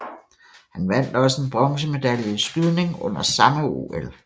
Han vandt også en bronzemedalje i skydning under samme OL